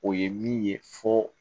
O ye min ye fo